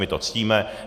My to ctíme.